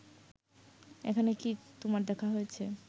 এখানে কি তোমার দেখা হয়েছে